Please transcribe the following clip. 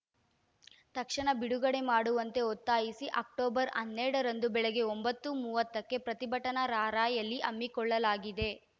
ತಕ್ಷಣ ಬಿಡುಗಡೆ ಮಾಡುವಂತೆ ಒತ್ತಾಯಿಸಿ ಅಕ್ಟೋಬರ್ ಹನ್ನೆರಡರಂದು ಬೆಳಗ್ಗೆ ಒಂಬತ್ತು ಮೂವತ್ತಕ್ಕೆ ಪ್ರತಿಭಟನಾ ರಾರ‍ಯಲಿ ಹಮ್ಮಿಕೊಳ್ಳಲಾಗಿದೆ